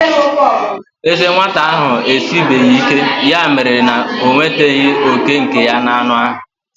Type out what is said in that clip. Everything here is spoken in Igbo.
Ezé nwata ahụ esibeghị ike, ya mere na o nwetaghị òkè nke ya n'anụ ahụ.